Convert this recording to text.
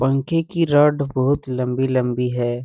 पंखे की रड बहुत लम्बी-लम्बी है।